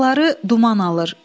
Dağları duman alır.